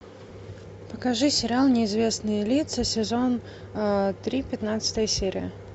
покажи сериал неизвестные лица сезон три пятнадцатая серия